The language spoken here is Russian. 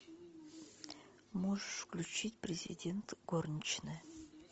можешь включить президент горничная